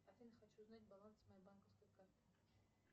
афина хочу узнать баланс моей банковской карты